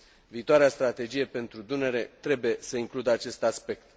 Viitoarea strategie pentru Dunăre trebuie să includă acest aspect.